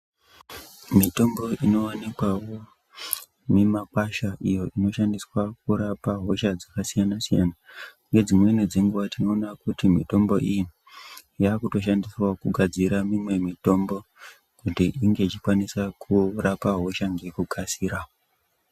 Mitombo inowanikwawo mimakwasha iyo inoshandiswa kurapa hosha dzakasiyana-siyana. Ngedzimweni dzenguwa tinoona kuti mitombo iyi yakutoshandiswawo kugadzira imwe mitombo kuti inge ichikwanisa kurapa hosha ngekukasira.